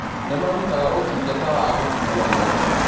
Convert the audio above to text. Nĩmarũtaga ũtũngata wa gũkũana